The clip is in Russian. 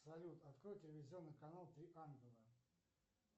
салют открой телевизионный канал три ангела